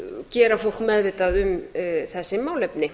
gera fólk meðvitað um þessi málefni